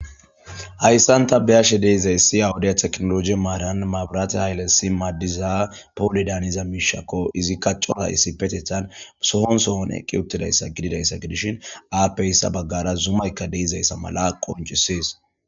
Hayssan ta beyashe deizayssi awudiya teknologi maaran maabiraate haylesi maaddiza poole daaniza miishakko izi kacoa issi petethan sohonsohon eqqi uttidayssa gididayssa gidishin aappeyssa baggara zumaykka deizayssa mala qoncisiis